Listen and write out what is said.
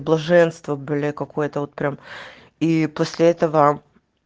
блаженство бля какое-то вот прям и после этого